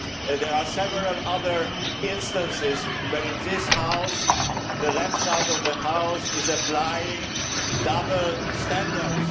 There are several other instances where, in this House, the left side of the House is applying double standards.